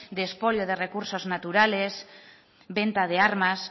de espolio de recursos naturales venta de armas